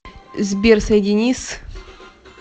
сбер соедини с